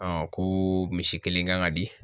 ko misi kelen kan ka di